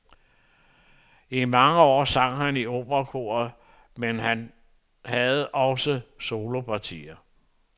I mange år sang han i operakoret, men havde også solopartier.